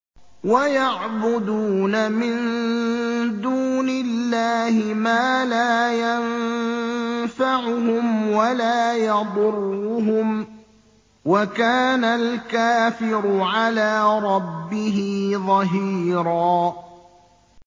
وَيَعْبُدُونَ مِن دُونِ اللَّهِ مَا لَا يَنفَعُهُمْ وَلَا يَضُرُّهُمْ ۗ وَكَانَ الْكَافِرُ عَلَىٰ رَبِّهِ ظَهِيرًا